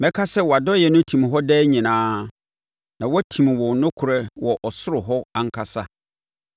Mɛka sɛ wʼadɔeɛ no tim hɔ daa nyinaa, na watim wo nokorɛdie wɔ ɔsoro hɔ ankasa.